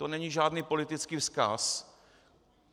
To není žádný politický vzkaz.